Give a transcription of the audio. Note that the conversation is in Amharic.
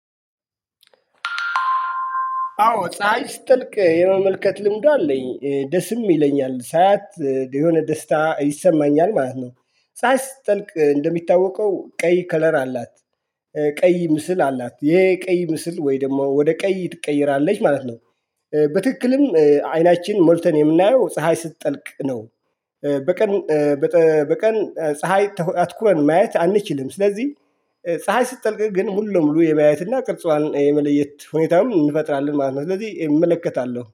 አዎ ፀሀይ ስትጠልቅ የመመልከት ልምዱ አለኝ ደስም ይለኛል ሳያት የሆነ ደስታ ይሰማኛል ማለት ነው። ፀሀይ ስትጠልቅ እንደሚታወቀው ቀይ ከለር አላት። ቀይ ምስል አላት የቀይ ምስል ወይ ደግሞ ወደ ቀይ ትቀየራለች ማለት ነው። በትክክልም አይናችን ሞልተን የምናየው ፀሀይ ስትጠልቅ ነው። በቀን ፀሀይ አትኩረን ማየት አንችልም። ስለዚህ ፀሀይ ስትጠልቅ ግን ሙሉ ሙሉ የማየትና ቅርጿን የመለየት ሁኔታውም እንፈጥራለን ማለት ነው። ስለዚህ እመለከታለሁ